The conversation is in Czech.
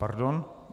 Pardon.